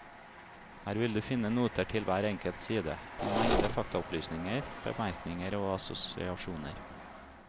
Her vil du finne noter til hver enkelt side, en mengde faktaopplysninger, bemerkninger og assosiasjoner.